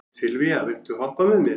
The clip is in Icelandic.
Sylvía, viltu hoppa með mér?